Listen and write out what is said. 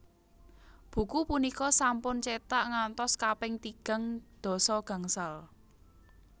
Buku punika sampun cetak ngantos kaping tigang dasa gangsal